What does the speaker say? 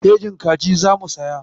Kejin kaji za mu siya.